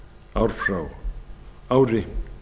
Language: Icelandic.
ár frá ári